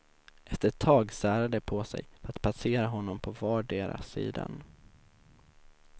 Efter ett tag särade de på sig för att passera honom på vardera sidan.